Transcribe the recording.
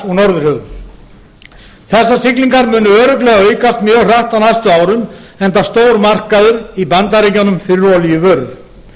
norðurhöfum þessar siglingar munu örugglega aukast mjög hratt á næstu árum enda stór markaður í bandaríkjunum fyrir olíuvörur